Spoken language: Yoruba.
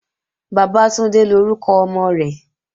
Bàbátúndé lórúkọ ọmọ rẹ̀